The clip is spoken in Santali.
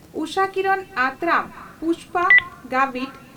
ᱩᱥᱟᱠᱤᱨᱚᱱ ᱟᱛᱨᱟᱢ ᱯᱩᱥᱯᱟ ᱜᱟᱵᱷᱤᱴ